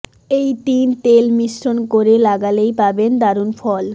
এই তিন তেল মিশ্রণ করে লাগালেই পাবেন দারুণ ফল